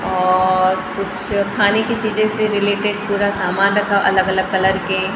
और कुछ खाने की चीजे से रिलेटेड पूरा सामान रखा अलग अलग कलर के --